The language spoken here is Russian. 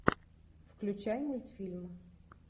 включай мультфильм